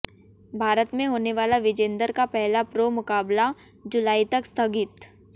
भारत में होने वाला विजेंदर का पहला प्रो मुकाबला जुलाई तक स्थगित